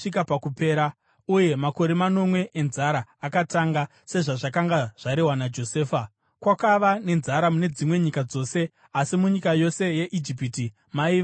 uye makore manomwe enzara akatanga, sezvazvakanga zvarehwa naJosefa. Kwakava nenzara mune dzimwe nyika dzose, asi munyika yose yeIjipiti maiva nezvokudya.